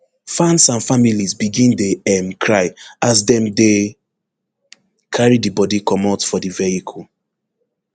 fans and families begin dey um cry as dem dey carry di bodi comot for di vehicle